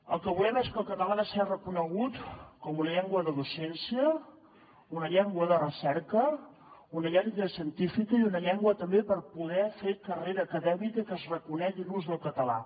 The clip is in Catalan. el que volem és que el català sigui reconegut com una llengua de docència una llengua de recerca una llengua científica i una llengua també per poder fer carrera acadèmica i que es reconegui l’ús del català